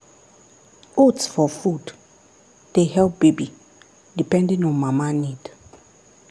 oats for food dey help baby depending on mama need.